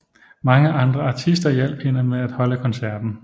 Mange andre artister hjalp hende med at holde koncerten